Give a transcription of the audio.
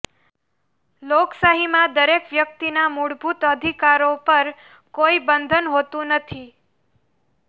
લોકશાહીમાં દરેક વ્યક્તિના મૂળભૂત અધિકારો પર કોઈ બંધન હોતુ નથી